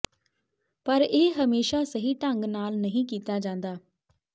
ਪਰ ਇਹ ਹਮੇਸ਼ਾ ਸਹੀ ਢੰਗ ਨਾਲ ਨਹੀਂ ਕੀਤਾ ਜਾਂਦਾ